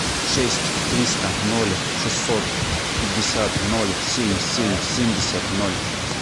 шесть триста ноль шестьсот пятьдесят ноль семь семь семьдесят ноль